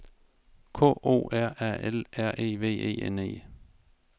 K O R A L R E V E N E